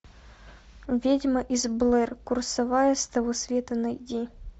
ведьма из блэр курсовая с того света найди